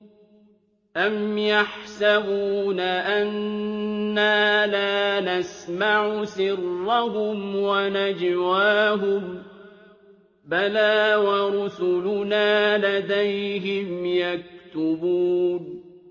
أَمْ يَحْسَبُونَ أَنَّا لَا نَسْمَعُ سِرَّهُمْ وَنَجْوَاهُم ۚ بَلَىٰ وَرُسُلُنَا لَدَيْهِمْ يَكْتُبُونَ